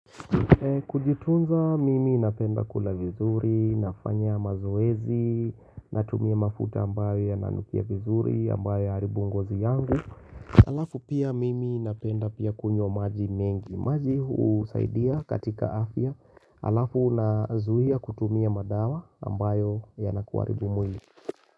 Kujitunza mimi napenda kula vizuri, nafanya mazoezi, natumia mafuta ambayo ya nanukia vizuri, ambayo ya haribu ungozi yangu Alafu pia mimi napenda pia kunywa maji mengi, maji usaidia katika afya, alafu unazuia kutumia madawa ambayo ya nakuaribu mwili.